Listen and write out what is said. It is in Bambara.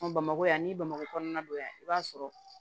bamakɔ yan ni bamakɔ kɔnɔna don yan i b'a sɔrɔ